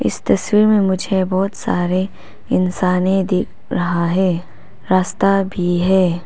इस तस्वीर में मुझे बहुत सारे इंसाने दिख रहा है रास्ता भी है।